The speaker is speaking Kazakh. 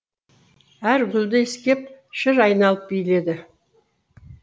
әр гүлді иіскеп шыр айналып биледі